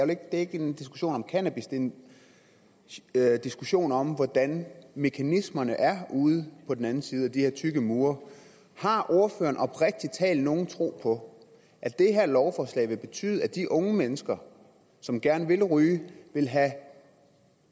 det er ikke en diskussion om cannabis det en diskussion om hvordan mekanismerne er ude på den anden side af de her tykke mure har ordføreren oprigtig talt nogen tro på at det her lovforslag vil betyde at de unge mennesker som gerne vil ryge vil have